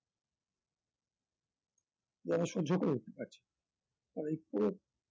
যেন সহ্য করে উঠতে পারছে না তারাই পুরো